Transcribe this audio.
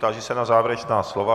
Táži se na závěrečná slova.